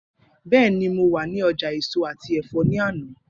Bẹẹni, Mo wa ni ọja eso ati ẹfọ ni ana.